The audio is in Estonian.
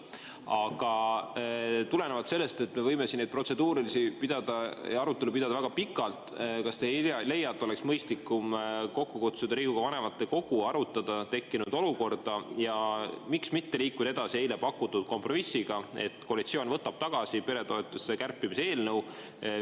Aga tulenevalt sellest, et me võime siin neid protseduurilisi ja arutelu pidada väga pikalt, kas te ei leia, et oleks mõistlikum kokku kutsuda Riigikogu vanematekogu, arutada tekkinud olukorda ja miks mitte liikuda edasi eile pakutud kompromissiga, et koalitsioon võtab tagasi peretoetuste kärpimise eelnõu?